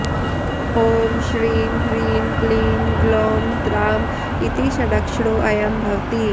ॐ श्रीं ह्रीं क्लीं ग्लौं द्रां इति षडक्षरोऽयं भवति